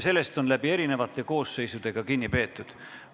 Sellest on erinevate koosseisude ajal ka kinni peetud.